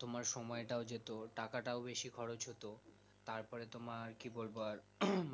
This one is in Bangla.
তোমায় সময়টাও যেত টাকাটাও বেশি খরচ হতো তারপরে তোমার কি বলবো আর